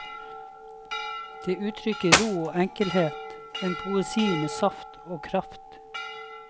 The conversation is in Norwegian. Det uttrykker ro og enkelhet, en poesi med saft og kraft.